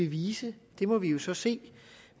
vise det må vi jo så se